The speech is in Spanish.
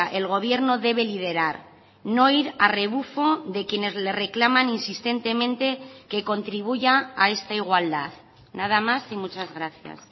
el gobierno debe liderar no ir a rebufo de quienes le reclaman insistentemente que contribuya a esta igualdad nada más y muchas gracias